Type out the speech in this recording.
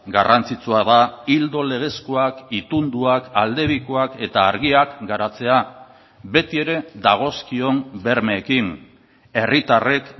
garrantzitsua da ildo legezkoak itunduak aldebikoak eta argiak garatzea beti ere dagozkion bermeekin herritarrek